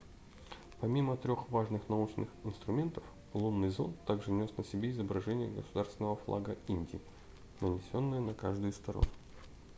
помимо трех важных научных инструментов лунный зонд также нес на себе изображение государственного флага индии нанесенное на каждую из сторон